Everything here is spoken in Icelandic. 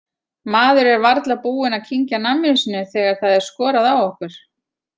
Maður er varla búinn að kyngja namminu sínu þegar það er skorað á okkur.